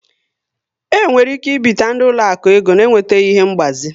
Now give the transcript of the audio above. E nwere ike ibite ndị ụlọaku ego na enwetaghị ihe ngbazi